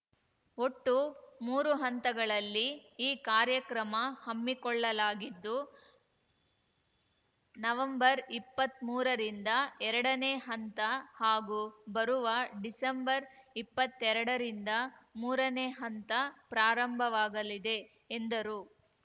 ಒಟ್ಟು ಮೂರು ಹಂತಗಳಲ್ಲಿ ಈ ಕಾರ್ಯಕ್ರಮ ಹಮ್ಮಿಕೊಳ್ಳಲಾಗಿದ್ದು ನವೆಂಬರ್ಇಪ್ಪತ್ಮೂರರಿಂದ ಎರಡನೇ ಹಂತ ಹಾಗೂ ಬರುವ ಡಿಸೆಂಬರ್ಇಪ್ಪತ್ತೆರಡ ರಿಂದ ಮೂರನೇ ಹಂತ ಪ್ರಾರಂಭವಾಗಲಿದೆ ಎಂದರು